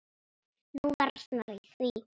Nú versnar í því.